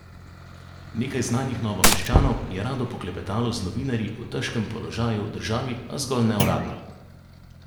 Nekaj znanih Novomeščanov je rado poklepetalo z novinarji o težkem položaju v državi, a zgolj neuradno.